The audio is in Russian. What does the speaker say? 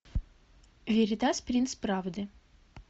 веритас принц правды